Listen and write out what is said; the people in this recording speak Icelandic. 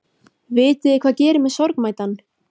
Vitiði hvað gerir mig sorgmæddan?